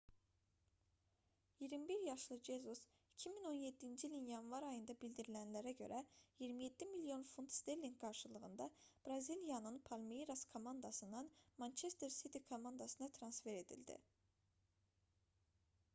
21 yaşlı jesus 2017-ci ilin yanvar ayında bildirilənlərə görə 27 milyon funt sterlinq qarşılığında braziliyanın palmeiras komandasından manchester city komandasına transfer edildi